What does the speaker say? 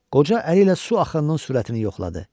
Qoca əli ilə su axının sürətini yoxladı.